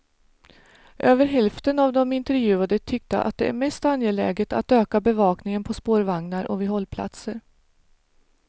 Över hälften av de intervjuade tyckte att det är mest angeläget att öka bevakningen på spårvagnar och vid hållplatser.